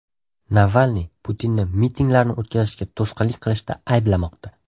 Navalniy Putinni mitinglarni o‘tkazishga to‘sqinlik qilishda ayblamoqda.